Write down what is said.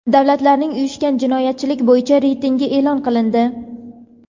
Davlatlarning uyushgan jinoyatchilik bo‘yicha reytingi e’lon qilindi.